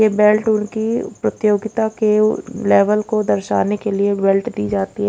ये बेल्ट उनकी प्रतियोगिता के लेवल को दर्शाने के लिए बेल्ट दी जाती है।